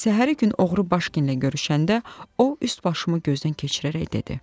Səhəri gün oğru baş ginlə görüşəndə o üst başımı gözdən keçirərək dedi: